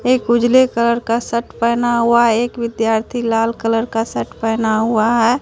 एक उजले कलर का सर्ट पेहना हुआ है एक विद्यार्थी लाल कलर का सर्ट पेहना हुआ है।